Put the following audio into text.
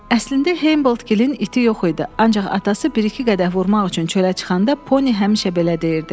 Əslində Hamboldtgilin iti yox idi, ancaq atası bir-iki qədəh vurmaq üçün çölə çıxanda Pony həmişə belə deyirdi.